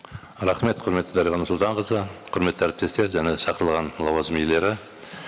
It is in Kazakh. рахмет құрметті дариға нұрсұлтанқызы құрметті әріптестер және шақырылған лауазым иелері